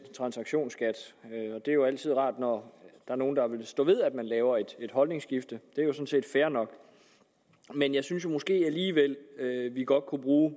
transaktionsskat det er jo altid rart når nogle vil stå ved at man laver et holdningsskifte det er jo sådan set fair nok men jeg synes måske alligevel at vi godt kunne bruge